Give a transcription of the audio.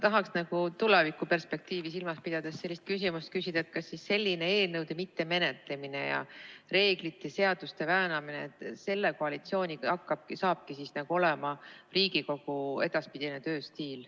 Tahaks tulevikuperspektiivi silmas pidades küsida, kas selline eelnõude mittemenetlemine ja reeglite-seaduste väänamine hakkabki selle koalitsiooniga olema Riigikogu edaspidine tööstiil.